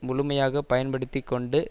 முழுமையாக பயன்படுத்தி கொண்டு